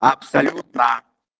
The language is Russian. абсолютно